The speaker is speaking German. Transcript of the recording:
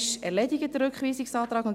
Der Rückweisungsantrag ist erledigt.